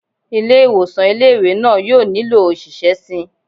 Ilé ìwòsàn ilé ìwé náà yóò nílò òṣìṣẹ́ síi